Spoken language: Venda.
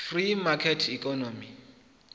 free market economy